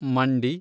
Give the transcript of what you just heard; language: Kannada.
ಮಂಡಿ